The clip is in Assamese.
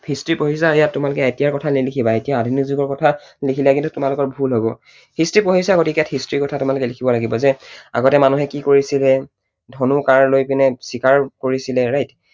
History পঢ়িছা ইয়াত তোমালোকে এতিয়াৰ কথা নিলিখিবা, এতিয়া আধুনিক যুগৰ কথা লিখিলে কিন্তু তোমালোকৰ ভূল হব। history পঢ়িছা গতিকে ইয়াত history ৰ কথা তোমালোকে লিখিব লাগিব। গতিকে আগতে মানুহে কি কৰিছিলে? ধনু কাঁড় লৈ পিনে চিকাৰ কৰিছিলে, right?